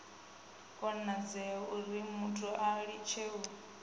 konadzea urimuthu a litshe u